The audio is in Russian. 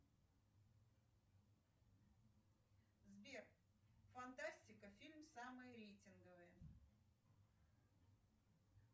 сбер фантастика фильм самые рейтинговые